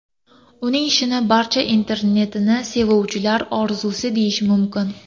Uning ishini barcha internetni sevuvchilar orzusi deyish mumkin.